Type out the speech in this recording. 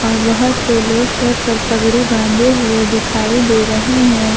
और बहोत से लोग सर पर पगड़ी बांधे हुए दिखाई दे रहे हैं।